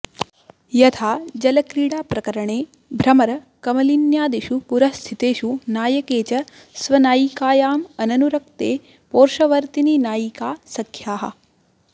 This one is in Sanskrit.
यथा जलक्रीडाप्रकरणे भ्रमरकमलिन्यादिषु पुरःस्थितेषु नायके च स्वनायिकायामननुरक्ते पोर्शवर्तिनि नायिकासख्याः